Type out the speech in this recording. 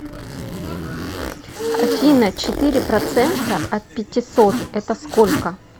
афина четыре процента от пятисот это сколько